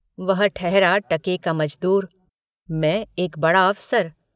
वह ठहरा टके का मजदूर मैं एक बड़ा अफसर।